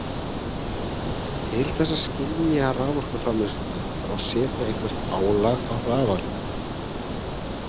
Til þess að skynja raforkuframleiðsluna þarf að setja eitthvert álag á rafalinn.